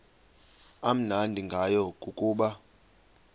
amnandi ngayo kukuba